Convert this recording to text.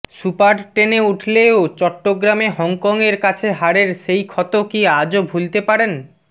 super টেনে উঠলেও চট্টগ্রামে হংকংয়ের কাছে হারের সেই ক্ষত কি আজও ভুলতে পারেন